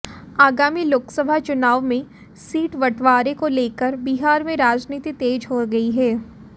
आगामी लोकसभा चुनाव में सीट बंटवारे को लेकर बिहार में राजनीति तेज हो गई है